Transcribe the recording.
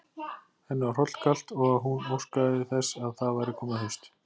Henni var hrollkalt, og hún óskaði þess að það væri komið haust.